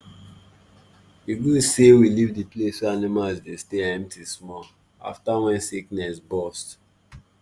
e good say we leave the place wey animals dey stay empty small after wen sickness bust